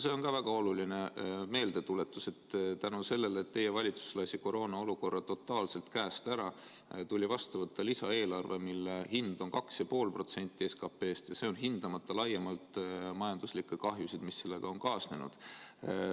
See on ka väga oluline meeldetuletus, et tänu sellele, et teie valitsus lasi koroonaolukorra totaalselt käest ära, tuli vastu võtta lisaeelarve, mille hind on 2,5% SKP‑st, hindamata laiemalt majanduslikke kahjusid, mis sellega on kaasnenud.